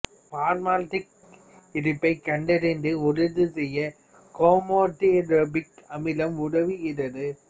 பார்மால்டிகைடின் இருப்பை கண்டறிந்து உறுதி செய்ய குரோமோடிரோபிக் அமிலம் உதவுகிறது